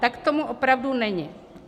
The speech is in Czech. Tak tomu opravdu není.